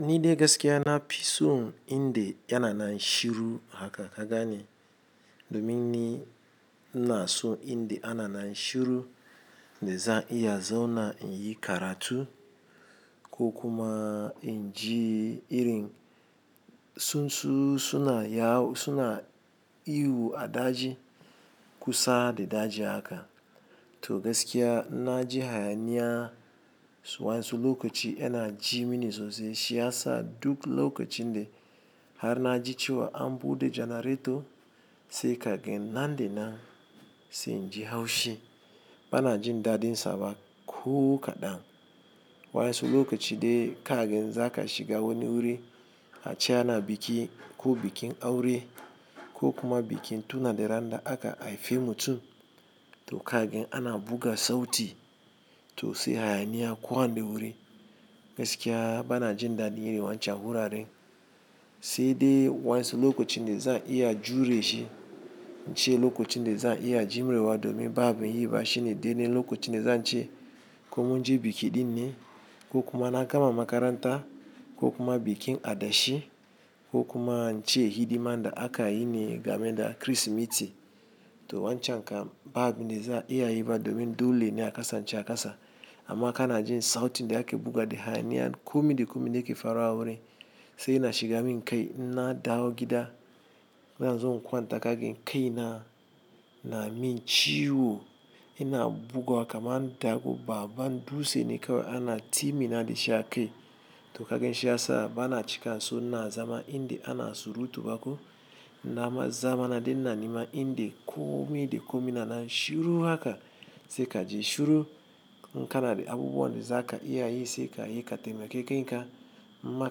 Ni de gaskiya napison inde yana nan shiru haka ka gane? Domin ni inaso inde ananan shiru de zan iya zauna inyi karatu ko kuma inji irin tsuntsu suna yawo suna ihu a daji kusa da daji haka. To gaskiya na ji hayaniya wa yansu lokaci yana jimini sosai shiyasa duk lokacin da har naji cewa an bude janareto sai kagan nan da nan sai in ji haushi. Bana jin dadin saba ko kaɗan. Wa yansu lokaci de kagan zaka shiga wani wuri ace ana biki ko bikin aure ko kuma bikin tuna da randa aka haife mutum. Toka gan ana buga sauti, to sai hayaniya kowani wuri. Gaskiya bana jin dadin irin wancan wuraren. Saide wa yansu lokacin de za'a iya jure shi, ince lokacin de za iya jumrewa domin babu yi ba shine dede lokacin da zance komin je biki dinne ko kuma na gama makaranta, ko kuma bikin adashi ko kuma ince hidimanda akayine game da Kirsimeti. To wancan kam babu abunda za' iya yi ba domin dole ne akasance akasa. Amma kana jin sautin da ake buga da hayaniya. Komi da komi dake faruwa a wurin sai yana shiga min kai inna dawo gida. Zanzo in kwanta kagan kaina, namin ciwo. Ina buguwa kamar dako babban dutsene kawai ana timina dashi akai. Tokagan shiyasa bana cika so ina zama inde ana surutu bako. Nama zama nadaina nema inde komi da komi nanan shiru haka, sai kaji shiru. Inkana da abubuwan da zaka iyayi sai kayi katemake kenka ma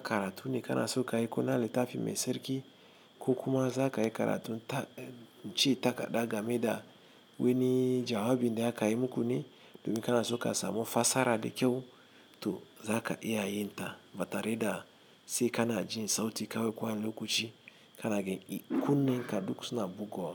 karatune kanaso kayi kona littafi mai sarki ko kuma zakayi karatun nce ta kaɗa game da wani jawabin de akayi mukune, domin kanaso ka samu fassara da kyau. To zaka iya yinta batare da sai kana jin sauti kawai kowani lokaci, kana gan kunne ka duk suna buguwa.